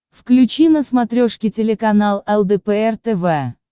включи на смотрешке телеканал лдпр тв